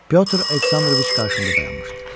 Pyotr Aleksandroviç qarşımda dayanmışdı.